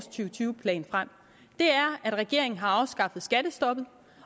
tyve plan frem er at regeringen har afskaffet skattestoppet